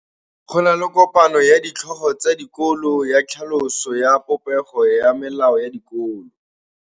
Go na le kopanô ya ditlhogo tsa dikolo ya tlhaloso ya popêgô ya melao ya dikolo.